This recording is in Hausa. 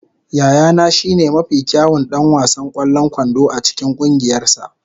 Yayana shine mafi kyawun ɗan wasan ƙwallon kwando a cikin ƙungiyarsa.